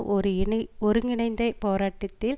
ஒரு இணை ஒருங்கிணைந்த போராட்டத்தில்